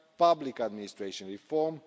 on public administration reform